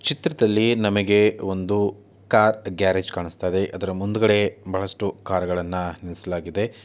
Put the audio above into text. ಚಿತ್ರದಲ್ಲಿ ನಮಗೆ ಒಂದು ಕಾರ್ ಗ್ಯಾರೇಜ್‌ ಕಾಣಿಸ್ತಾ ಇದೆ‌ ಅದರ ಮುಂದುಗಡೆ ಬಹಳಷ್ಟು ಕಾರುಗಳನ್ನು ನಿಲ್ಲಿಸಲಾಗಿದೆ.